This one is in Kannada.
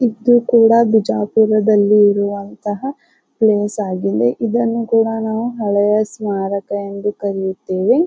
ಇದು ಕೂಡ ಬಿಜಾಪುರದಲ್ಲಿ ಇರುವಂಥ ಪ್ಲೇಸ್ ಆಗಿದೆ. ಇದನ್ನು ಕೂಡ ನಾವು ಹಳೆಯ ಸ್ಮಾರಕ ಎಂದು ಕರೆಯುತ್ತೇವೆ.